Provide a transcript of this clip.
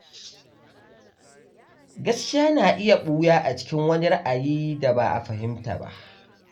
Gaskiya na iya ɓuya a cikin wani ra’ayi da ba a fahimta ba.